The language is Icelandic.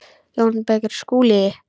JÓN BEYKIR: Skúli!